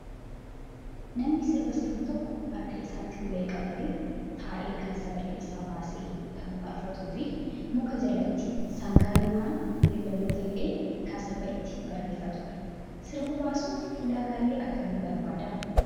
Namni sirba sirbu tokko harka isaatti ulee qabatee taa'ee kan sagalee isaa baasee kan faarfatuu fi muka jalatti sangaa yookaan beeyladoota hidhee kan sirba ittiin bareeffatudha. Sirba basuuf ulaagaalee akkamii barbaadaa?